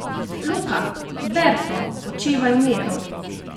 Luka: "Berto, počivaj v miru!